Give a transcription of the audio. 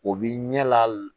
O bi ɲɛ la